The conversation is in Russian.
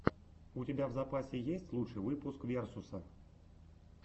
у тебя в запасе есть лучший выпуск версуса